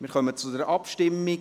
Wir kommen zur Abstimmung.